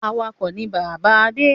Awakọ̀ ni bàbá Adé.